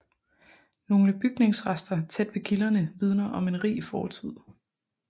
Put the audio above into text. Nogle bygningsrester tæt ved kilderne vidner om en rig fortid